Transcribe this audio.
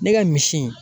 Ne ka misi